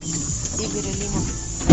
игорь алимов